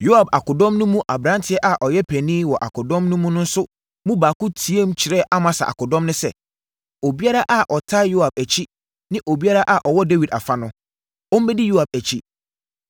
Yoab akodɔm no mu aberanteɛ a ɔyɛ panin wɔ akodɔm no so no mu baako teaam kyerɛɛ Amasa akodɔm no sɛ, “Obiara a ɔtaa Yoab akyi ne obiara a ɔwɔ Dawid afa no, ɔmmɛdi Yoab akyi.”